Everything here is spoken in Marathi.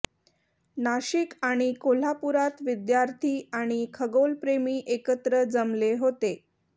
नाशिक आणि कोल्हापूरात विद्यार्थी आणि खगोलप्रेमी एकत्र जमले होते